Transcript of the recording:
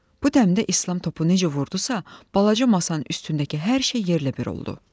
Bu dəmdə İslam topu necə vurdusa, balaca masanın üstündəki hər şey yerlə bir oldu.